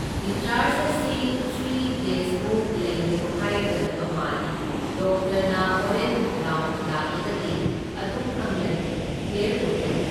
Discharge ꯑꯁꯤ three ꯗꯦꯁꯃꯨꯛ ꯂꯩꯌꯨ ꯍꯥꯏꯒꯗꯕ ꯃꯥꯜꯂꯤ, ꯗꯣꯛꯇꯔꯅ ꯍꯣꯔꯦꯟ ꯔꯥꯎꯟ ꯂꯥꯛꯂꯒꯗꯤ ꯑꯗꯨꯝ ꯈꯪꯂꯅꯤ, ꯀ꯭ꯂꯤꯌꯔ ꯑꯣꯏꯔꯅꯤ꯫